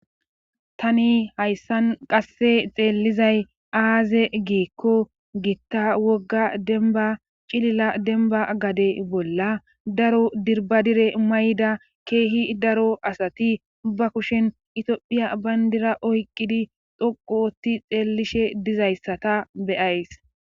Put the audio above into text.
tani hayssan qasse xeellizay aaze giikko gitta wogga denba cilila denba gade bolla daro dirbadire may7da keehi daro asati ba kushen itiophiya bayndira oyqqidi dhoqoti xeellishe dizayssata beyays